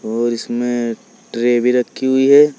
और इसमें ट्रे भी रखी हुई है।